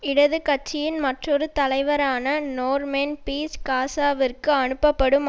இடது கட்சியின் மற்றொரு தலைவரான நோர்மென் பீய்ச் காசாவிற்கு அனுப்பப்படும்